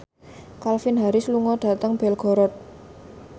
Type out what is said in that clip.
Calvin Harris lunga dhateng Belgorod